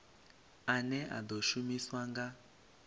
ane a ḓo shumiswa nga